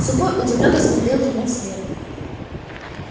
сухой удивлённо смотрел ему вслед